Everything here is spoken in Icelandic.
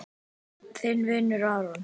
Þinn vinur Aron.